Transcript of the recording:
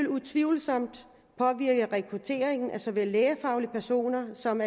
utvivlsomt påvirke rekrutteringen af såvel lægefaglige personer som